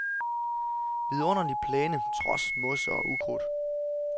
Vidunderlig plæne trods mos og ukrudt.